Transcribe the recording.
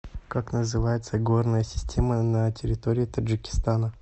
как называется горная система на территории таджикистана